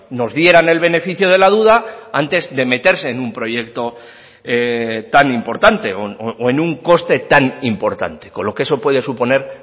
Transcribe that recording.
nos dieran el beneficio de la duda antes de meterse en un proyecto tan importante o en un coste tan importante con lo que eso puede suponer